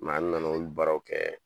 Mɛ n nana olu baaraw kɛ